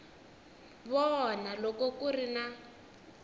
vona loko ku ri na